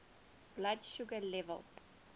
blood sugar level